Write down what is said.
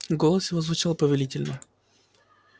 голос его звучал повелительно